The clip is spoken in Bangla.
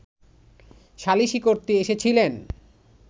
সালিশি করতে এসেছিলেন